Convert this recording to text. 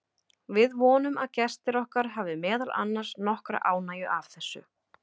Við vonum að gestir okkar hafi meðal annars nokkra ánægju af þessu.